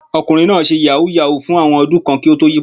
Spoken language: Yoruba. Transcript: Ọkùnrin náà ṣe yàhú yàhú fún àwọn ọdún kan kí ó tó yí padà.